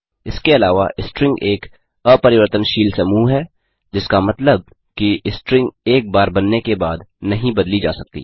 इसके अलावा स्ट्रिंग एक अपरिवर्तनशील समूह है जिसका मतलब कि स्ट्रिंग एक बार बनने के बाद नहीं बदली जा सकती